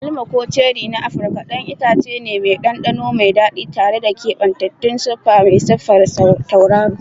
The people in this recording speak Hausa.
Agwaluma, ko ceri na Afirka, ɗan itace ne mai ɗanɗano mai daɗi tare da keɓantaccen siffa mai siffar tauraro.